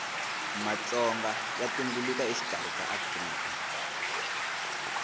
matonga ya tumbuluka exikarhi ka afrika